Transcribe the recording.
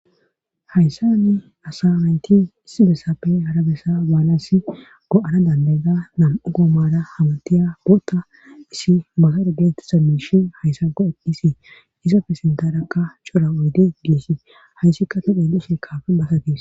hayssani asa mayti issi bessappe harabessa baalas go7ana dandayda nam7u goomara hamtiya boota issi masare genti sa miishi hayssa go edhisi isapfe sindaraqa cora oydi giisi hayssikka todhelishe kaafe basatiis